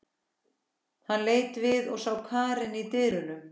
Hann leit við og sá Karen í dyrunum.